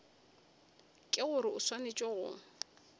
ke gore o swanetše go